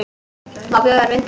Má bjóða þér vindil?